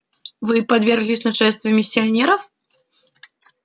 вы подверглись нашествию миссионеров